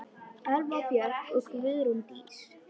Elva Björk og Guðrún Dís.